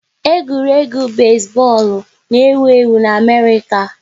Egwuregwu besi bọọlụ n'ewu ewu n'Amerịka